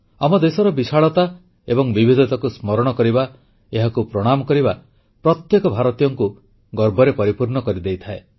ଆମ ଦେଶର ବିଶାଳତା ଏବଂ ବିବିଧତାକୁ ସ୍ମରଣ କରିବା ଏହାକୁ ପ୍ରଣାମ କରିବା ପ୍ରତ୍ୟେକ ଭାରତୀୟଙ୍କୁ ଗର୍ବରେ ପରିପୂର୍ଣ୍ଣ କରିଦେଇଥାଏ